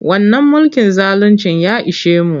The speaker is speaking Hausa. Wannan mulkin zaluncin ya ishe mu.